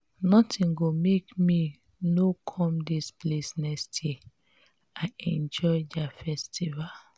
nothing go make me no come dis place next year. i enjoy their festival.